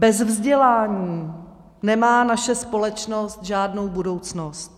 Bez vzdělání nemá naše společnost žádnou budoucnost.